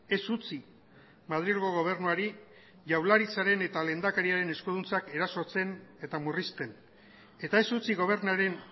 ez utzi madrilgo gobernuari jaurlaritzaren eta lehendakariaren eskuduntzak erasotzen eta murrizten eta ez utzi gobernuaren